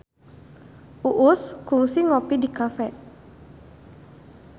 Uus kungsi ngopi di cafe